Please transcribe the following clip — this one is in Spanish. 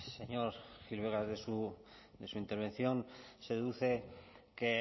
señor gil vegas de su intervención se deduce que